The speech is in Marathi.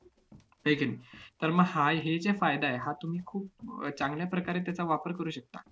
तर मग हा~ हे जे फायदा आहे हा तुम्ही खूप अह चांगल्या प्रकारे त्याचा वापर करू शकता.